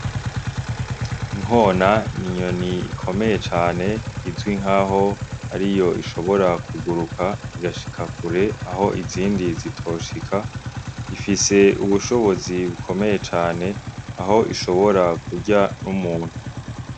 Inkona n'inyoni ikomeye cane izwi nkaho ariyo ishobora kuguruka igashika kure aho izindi zitoshika ifise ubushobozi bukomeye cane aho ishobora kurya n'umuntu.